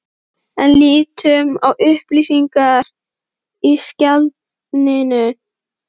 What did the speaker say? En lítum á upplýsingarnar í skjalinu.